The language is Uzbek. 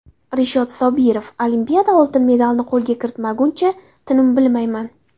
Rishod Sobirov: Olimpiada oltin medalini qo‘lga kiritmaguncha tinim bilmayman.